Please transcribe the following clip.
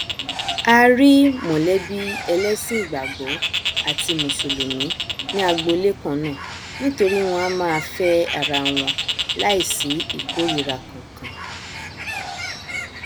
a rí mọlẹbí ẹlẹsìn ìgbàgbọ àti mùsùlùmí ní agbolé kannáà nítorí wọn a máa fẹ arawọn láì sí ìkórira kankan